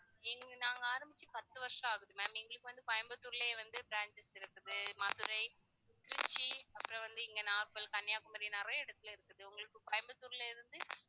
இங்க நாங்க ஆரம்பிச்சு பத்து வருஷம் ஆகுது ma'am எங்களுக்கு வந்து கோயம்புத்தூர்லயே வந்து branches இருக்குது மதுரை, திருச்சி அப்புறம் வந்து இங்க நாகர்கோவில், கன்னியாகுமரி நிறைய இடத்தில இருக்குது உங்களுக்கு கோயம்புத்தூரில இருந்து